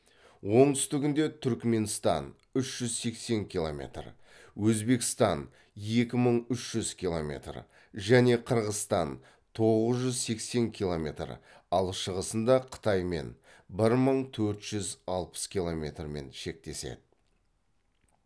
оңтүстігінде түрікменстан үш жүз сексен километр өзбекстан екі мың үш жүз километр және қырғызстан тоғыз жүз сексен километр ал шығысында қытаймен бір мың төрт жүз алпыс километрмен шектеседі